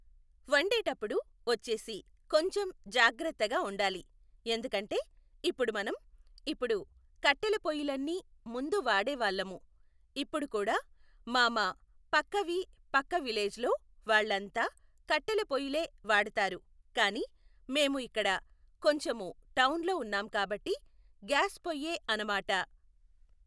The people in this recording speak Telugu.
వండేటప్పుడు వచ్చేసి కొంచెం జాగ్రత్తగా వండాలి, ఎందుకంటే ఇప్పుడు మనం, ఇప్పుడు కట్టెల పొయ్యిలన్నీ ముందు వాడే వాళ్ళము, ఇప్పుడు కూడా మా మా పక్క వి పక్క విలేజ్లో వాళ్ళంతా కట్టెల పొయ్యిలే వాడుతారు కానీ మేము ఇక్కడ కొంచెము టౌన్లో ఉన్నాం కాబట్టి గ్యాస్ పొయ్యే అనమాట.